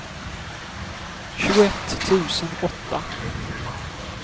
tjugoett tusen åtta